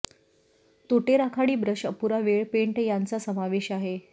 तोटे राखाडी ब्रश अपुरा वेळ पेंट यांचा समावेश आहे